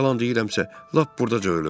yalan deyirəmsə, lap burdaca ölüm.